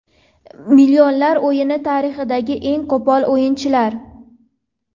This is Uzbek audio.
Millionlar o‘yini tarixidagi eng qo‘pol o‘yinchilar.